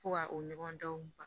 Fo ka o ɲɔgɔn dɔn baga